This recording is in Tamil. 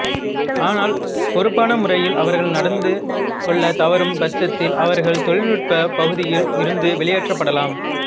ஆனால் பொறுப்பான முறையில் அவர்கள் நடந்து கொள்ளத் தவறும் பட்சத்தில் அவர்கள் தொழில்நுட்பப் பகுதியில் இருந்து வெளியேற்றப்படலாம்